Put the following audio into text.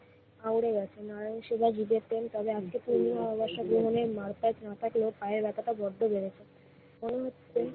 আউরে গেছে, নারায়ণ সেবার বিজ্ঞাপন তাহলে আজ থেকেই মারপ্যাচ না থাকলেও পায়ের ব্যথাটা বড্ড বেড়েছে। মনে হচ্ছে